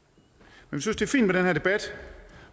vi synes det er fint med den her debat